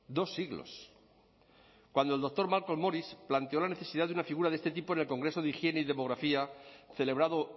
dos siglos cuando el doctor malcolm moris planteó la necesidad de una figura de este tipo en el congreso de higiene y demografía celebrado